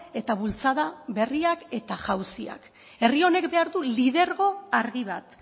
eta bultzada berriak eta jauziak herri honek behar du lidergo argi bat